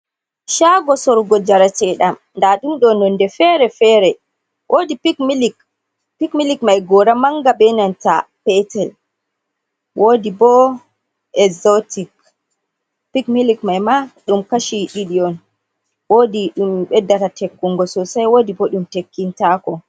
Shago sorrugo jarateɗam, daɗum ɗo nonde fere-fere, woodi pik milik. Pik milik mai gora manga ɓe nanta petel, woodi bo ekzotik, pik milik mai ma ɗum kashi ɗiɗi on, woodi ɗum beddata tekkungo sosai woodi bo ɗum tekkintako.